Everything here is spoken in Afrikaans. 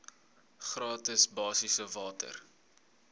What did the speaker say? gratis basiese water